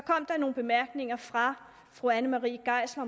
nogle bemærkninger fra fru anne marie geisler